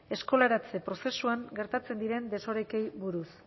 eskolaratze prozesuan gertatzen diren desorekeei buruz